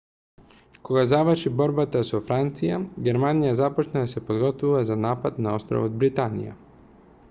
кога заврши борбата со франција германија започна да се подготвува за напад на островот британија